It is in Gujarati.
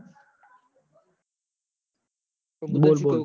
બોલ બોલ